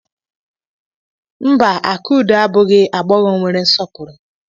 Mba, Akudo abụghị nwagbọghọ nwere nsọpụrụ.